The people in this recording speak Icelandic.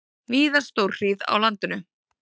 Víða stórhríð á landinu